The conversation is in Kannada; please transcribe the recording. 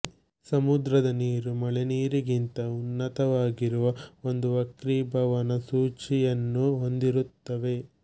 ಸಮುದ್ರದ ನೀರು ಮಳೆನೀರಿಗಿಂತ ಉನ್ನತವಾಗಿರುವ ಒಂದು ವಕ್ರೀಭವನ ಸೂಚಿಯನ್ನು ಹೊಂದಿರುತ್ತದೆ